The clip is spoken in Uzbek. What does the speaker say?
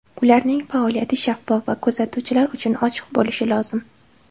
Ularning faoliyati shaffof va kuzatuvchilar uchun ochiq bo‘lishi lozim.